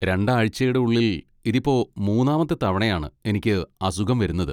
രണ്ട് ആഴ്ചയുടെ ഉള്ളിൽ ഇതിപ്പോ മൂന്നാമത്തെ തവണയാണ് എനിക്ക് അസുഖം വരുന്നത്.